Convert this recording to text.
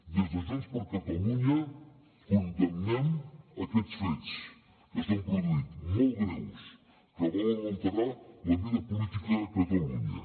des de junts per catalunya condemnem aquests fets que s’han produït molt greus que volen alterar la vida política a catalunya